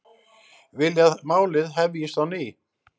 Vilja að málið hefjist á ný